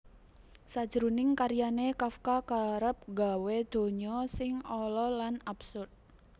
Sajroning karyané Kafka kerep nggawé donya sing ala lan absurd